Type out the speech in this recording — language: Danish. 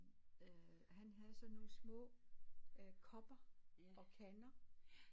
Øh han havde sådan nogle små øh kopper og kander